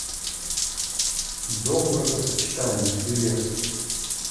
дом бракосочетания билет